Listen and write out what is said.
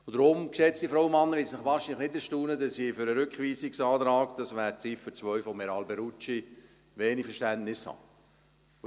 Deshalb, geschätzte Frauen und Männer, wird es Sie wahrscheinlich nicht erstaunen, dass ich für den Rückweisungsantrag – das wäre die Ziffer 2 von Herrn Alberucci – wenig Verständnis habe.